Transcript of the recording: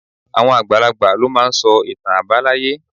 Àwọn àgbà lo máa n sọ ìtàn àbáláyé